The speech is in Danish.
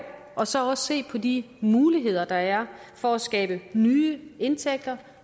og så også se på de muligheder der er for at skabe nye indtægter